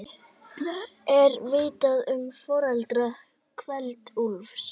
Er vitað um foreldra Kveld-Úlfs?